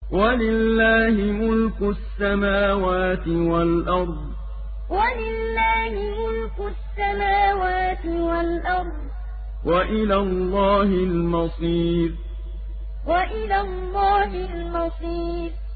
وَلِلَّهِ مُلْكُ السَّمَاوَاتِ وَالْأَرْضِ ۖ وَإِلَى اللَّهِ الْمَصِيرُ وَلِلَّهِ مُلْكُ السَّمَاوَاتِ وَالْأَرْضِ ۖ وَإِلَى اللَّهِ الْمَصِيرُ